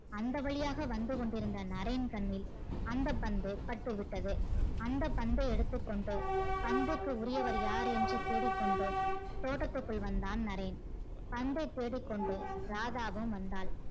அந்த வழியாக வந்து கொண்டு இருந்த நரேன் கண்ணில் அந்த பந்து பட்டுவிட்டது அந்த பந்தை எடுத்துகொண்டு பந்துக்கு உரியவர் யார் என்று தேடிக்கொண்டு தோட்டத்துக்குள் வந்தான் நரேன் பந்தை தேடிக்கொண்டு ராதாவும் வந்தால்